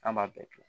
An b'a bɛɛ kɛ